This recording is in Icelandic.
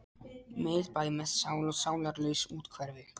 Miðbæ með sál og sálarlaus úthverfi.